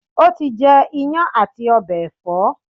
o ti jẹ iyán ati ọbẹ ẹfọ?